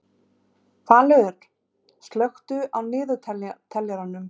Falur, slökktu á niðurteljaranum.